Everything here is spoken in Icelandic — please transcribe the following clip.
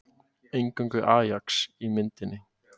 Eingöngu Ajax í myndinni